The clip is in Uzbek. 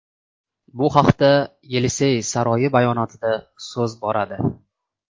Bu haqda Yelisey saroyi bayonotida so‘z boradi.